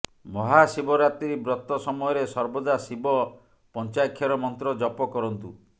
ମହାଶିବରାତ୍ରୀ ବ୍ରତ ସମୟରେ ସର୍ବଦା ଶିବ ପଞ୍ଚାାକ୍ଷର ମନ୍ତ୍ର ଜପ କରନ୍ତୁ